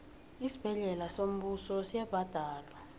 isibhedlela sombuso asibhadalwa